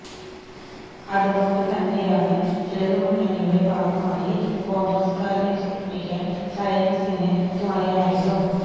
അതുകൊണ്ട് തന്നെയാണ് ഇടതു മുന്നണിയുടെ ഭാഗമായി കോൺഗ്രസുകാരനെ തോൽപ്പിക്കാൻ ശ്രേയംസിന് തുണയായതും